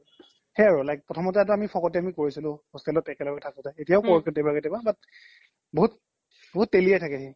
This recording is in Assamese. সেই আৰু প্ৰথম্তে আমি ফকতিয়ামি কৰিছিলো hostel ত একে লগে থাকোতে এতিয়াও কৰো কেতিয়াবা কেতিয়াবা but বহুত তেলিয়াই থাকে সি